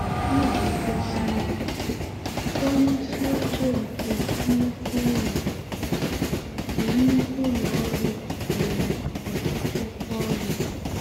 Iji gosi ya: Onye isi oche nke nnukwu ụlọ nke nnukwu ụlọ ọrụ nwere ọtụtụ ọrụ.